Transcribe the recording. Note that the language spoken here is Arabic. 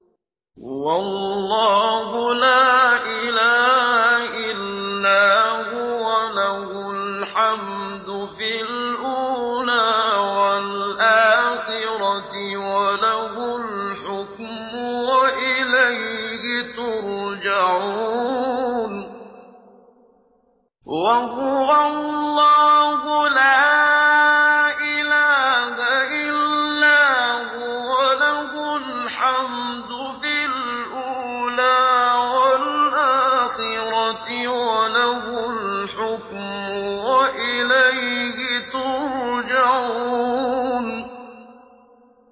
وَهُوَ اللَّهُ لَا إِلَٰهَ إِلَّا هُوَ ۖ لَهُ الْحَمْدُ فِي الْأُولَىٰ وَالْآخِرَةِ ۖ وَلَهُ الْحُكْمُ وَإِلَيْهِ تُرْجَعُونَ